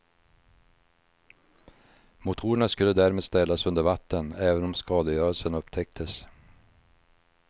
Motorerna skulle därmed ställas under vatten även om skadegörelsen upptäcktes.